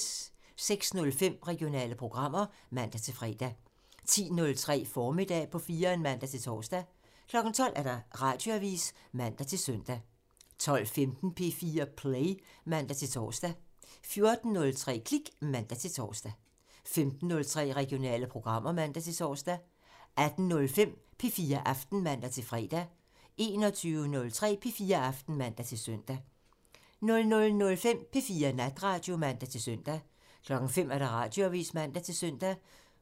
06:05: Regionale programmer (man-fre) 10:03: Formiddag på 4'eren (man-tor) 12:00: Radioavisen (man-søn) 12:15: P4 Play (man-tor) 14:03: Klik (man-tor) 15:03: Regionale programmer (man-tor) 18:05: P4 Aften (man-fre) 21:03: P4 Aften (man-søn) 00:05: P4 Natradio (man-søn) 05:00: Radioavisen (man-søn)